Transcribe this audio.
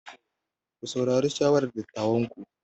Ku saurari shawarar dattawanku.